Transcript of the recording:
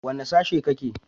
Wane sashe kake?